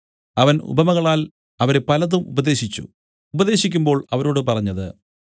അവൻ ഉപമകളാൽ അവരെ പലതും ഉപദേശിച്ചു ഉപദേശിക്കുമ്പോൾ അവരോട് പറഞ്ഞത്